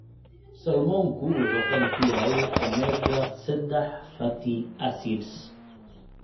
Salmonku wuxuu qani ku yahay omega-sadax fatty acids.